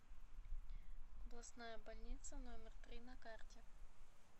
областная больница номер три на карте